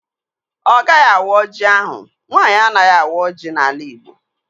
Ọ gaghị awa ọjị ahụ. Nwaanyị anaghị awa ọjị n'ala igbo